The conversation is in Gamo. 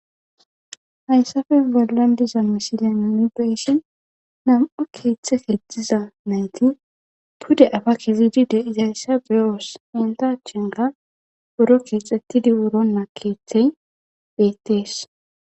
Haysappe bollan diza misilen nuni beyishin nam'u keethe keexiza nayti pude apa kezidi de'izaysa beyoos. Nayta achan qase buro keexetidi wurona keethey beetes.